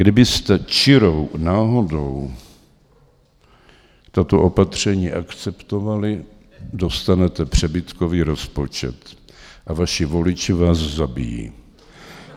Kdybyste čirou náhodou tato opatření akceptovali, dostanete přebytkový rozpočet a vaši voliči vás zabijí.